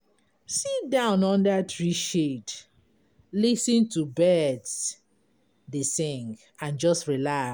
Sit down under tree shade, lis ten to birds dey sing, and just relax.